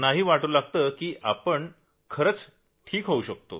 त्यानाही वाटू लागतं की आपण ठीक होऊ शकतो